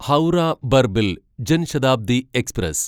Howrah Barbil Jan Shatabdi express